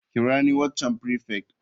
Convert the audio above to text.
Kira ni waccan prefect.